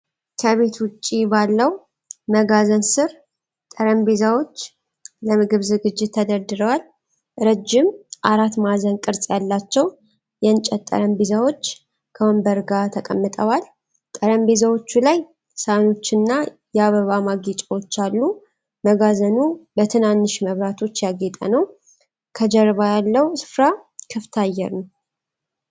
ከቤት ውጪ ባለው መጋዘን ስር ጠረጴዛዎች ለምግብ ዝግጅት ተደርድረዋል። ረጅም አራት ማዕዘን ቅርፅ ያላቸው የእንጨት ጠረጴዛዎች ከወንበሮች ጋር ተቀምጠዋል። ጠረጴዛዎቹ ላይ ሳህኖችና የአበባ ማጌጫዎች አሉ። መጋዘኑ በትንንሽ መብራቶች ያጌጠ ነው። ከጀርባ ያለው ስፍራ ክፍት አየር ነው።